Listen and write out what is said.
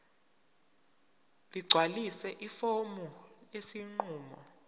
ligcwalise ifomu lesinqumo